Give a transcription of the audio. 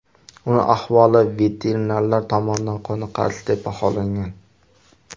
Uning ahvoli veterinarlar tomonidan qoniqarsiz deb baholangan.